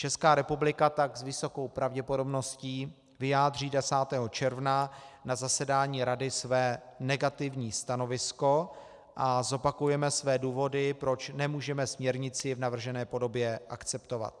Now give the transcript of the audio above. Česká republika tak s vysokou pravděpodobností vyjádří 10. června na zasedání Rady své negativní stanovisko a zopakujeme své důvody, proč nemůžeme směrnici v navržené podobě akceptovat.